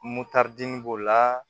Motɛri b'o la